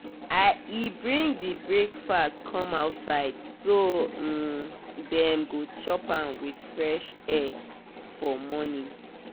she just throw in more fruit make the morning food no too heavy.